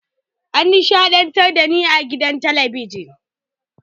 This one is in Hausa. An nishaɗantar da ni a gidan talabijin.